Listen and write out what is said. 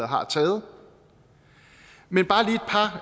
har taget men bare